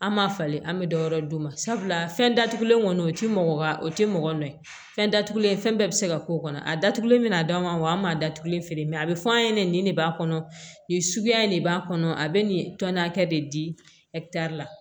An ma falen an bɛ dɔ wɛrɛ d'u ma sabula fɛn datugulen kɔni o ti mɔgɔ wa o ti mɔgɔ nɔ ye fɛn datugulen fɛn bɛɛ bi se ka k'o kɔnɔ a datugulen mɛna d'an ma wa an m'a datugulen feere mɛ a bi fɔ an ye nin de b'a kɔnɔ nin suguya in de b'a kɔnɔ a bɛ nin tɔni hakɛ de di ɛkitɛri la